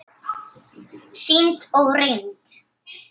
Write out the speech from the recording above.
Sýnd og reynd.